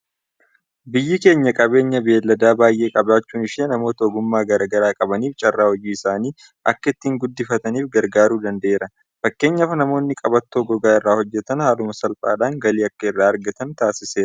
Biyyi keenya qabeenya beelladaa baay'ee qabaachuun ishee namoota ogummaa garaa garaa qabaniif carraa hojii isaanii akka ittiin guddifataniif gargaaruu danda'eera. Fakkeenyaaf namoonni qabattoo gogaa irraa hojjetan haaluma salphaadhaan galii akka irraa argatan taasiseera.